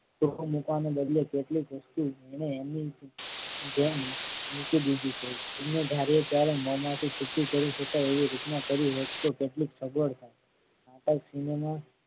ચોકો મુકવાને બદલે કેટલીક મુશ્કેલ અને એમની જેમ મૂકી દીધી છે અને ધારીએ ત્યારે મોંમાંથી છૂટી કરી શકાય એવી રીતના કરી હોટ તો કેટલું સગવડ થાત પણ સિનેમા